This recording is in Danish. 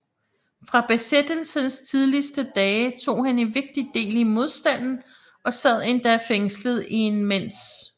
Fra besættelsens tidligste dage tog han en vigtig del i modstanden og sad endda fængslet i en mens